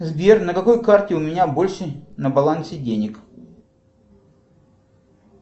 сбер на какой карте у меня больше на балансе денег